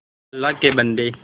अल्लाह के बन्दे